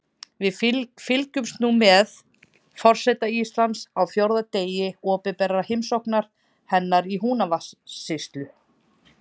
Við fylgjumst nú með forseta Íslands á fjórða degi opinberrar heimsóknar hennar í Húnavatnssýslu.